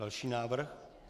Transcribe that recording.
Další návrh?